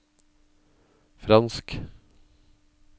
fransk